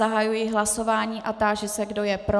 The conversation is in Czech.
Zahajuji hlasování a táži se, kdo je pro.